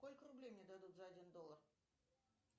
сколько рублей мне дадут за один доллар